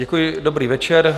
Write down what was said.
Děkuji, dobrý večer.